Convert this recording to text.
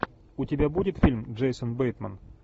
у тебя будет фильм джейсон бейтман